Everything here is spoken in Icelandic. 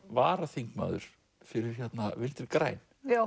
varaþingmaður fyrir Vinstri græn